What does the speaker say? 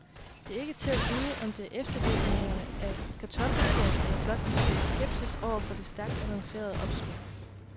Det er ikke til at vide, om det er eftervirkningerne af kartoffelkuren eller blot en smule skepsis over for det stærkt annoncerede opsving.